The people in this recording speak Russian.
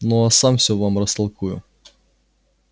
ну а сам всё вам растолкую